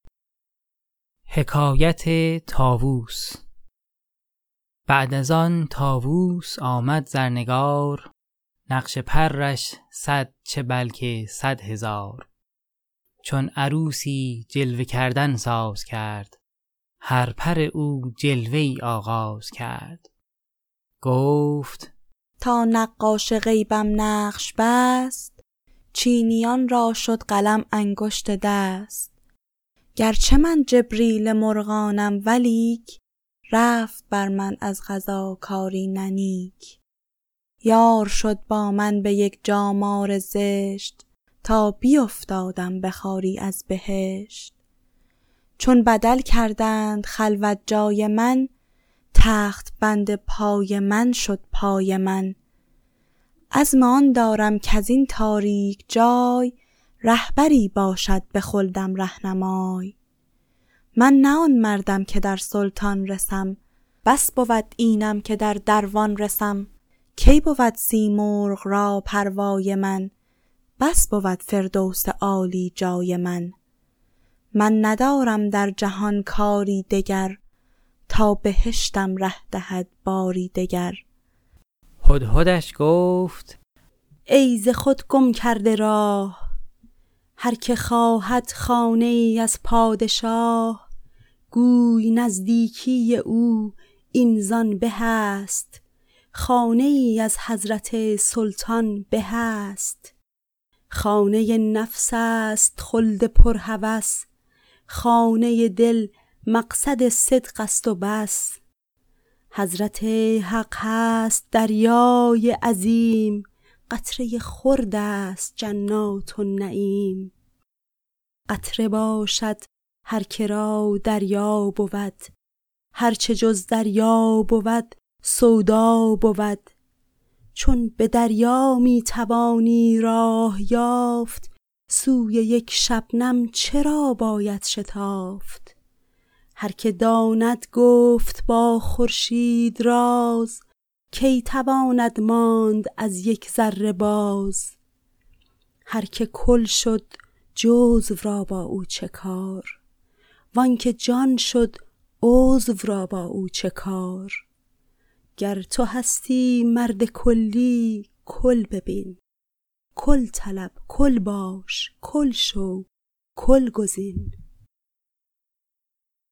بعد از آن طاووس آمد زرنگار نقش پرش صد چه بلکه صد هزار چون عروسی جلوه کردن ساز کرد هر پر او جلوه ای آغاز کرد گفت تا نقاش غیبم نقش بست چینیان را شد قلم انگشت دست گر چه من جبریل مرغانم ولیک رفت بر من از قضا کاری نه نیک یار شد با من به یک جا مار زشت تا بیفتادم به خواری از بهشت چون بدل کردند خلوت جای من تخت بند پای من شد بای من عزم آن دارم کزین تاریک جای رهبری باشد به خلدم رهنمای من نه آن مردم که در سلطان رسم بس بود اینم که در دروان رسم کی بود سیمرغ را پروای من بس بود فردوس عالی جای من من ندارم در جهان کاری دگر تا بهشتم ره دهد باری دگر هدهدش گفت ای ز خود گم کرده راه هر که خواهد خانه ای از پادشاه گوی نزدیکی او این زآن به است خانه ای از حضرت سلطان به است خانه نفس است خلد پر هوس خانه دل مقعد صدق است و بس حضرت حق هست دریای عظیم قطره خرد است جنات النعیم قطره باشد هر که را دریا بود هر چه جز دریا بود سودا بود چون به دریا می توانی راه یافت سوی یک شبنم چرا باید شتافت هر که داند گفت با خورشید راز کی تواند ماند از یک ذره باز هر که کل شد جزو را با او چه کار وآن که جان شد عضو را با او چه کار گر تو هستی مرد کلی کل ببین کل طلب کل باش کل شو کل گزین